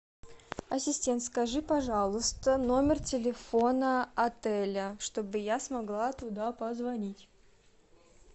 ассистент скажи пожалуйста номер телефона отеля чтобы я смогла туда позвонить